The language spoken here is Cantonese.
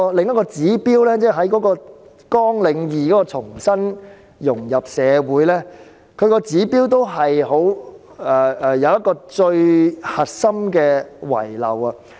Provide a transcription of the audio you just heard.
另外，在綱領2重新融入社會的指標中，同樣遺漏了最重要的項目。